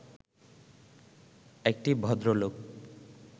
একটি ভদ্রলোক